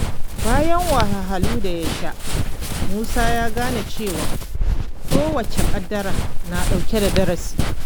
Bayan wahalhalun da ya sha, Musa ya gane cewa kowace ƙaddara na ɗauke da darasi.